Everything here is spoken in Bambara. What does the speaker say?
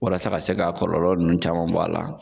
Walasa ka se ka kɔlɔlɔ nunnu caman bɔ a la.